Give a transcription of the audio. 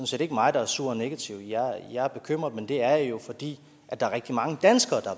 set ikke mig der er sur og negativ jeg er bekymret men det er jeg jo fordi der er rigtig mange danskere der